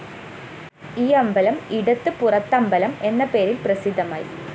ഈ അമ്പലം ഇടത്ത് പുറത്തമ്പലം എന്ന പേരില്‍ പ്രസിദ്ധമായി